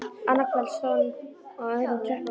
Annað kvöld stóð hún á öðrum tröppupalli.